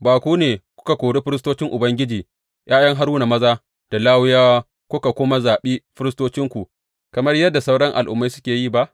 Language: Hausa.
Ba ku ne kuka kori firistocin Ubangiji, ’ya’yan Haruna maza, da Lawiyawa kuka kuma zaɓi firistocinku kamar yadda sauran al’ummai suke yi ba?